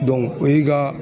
o y'i ka